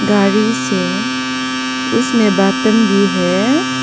गाड़ी से उसमें बटन भी है।